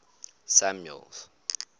samuel's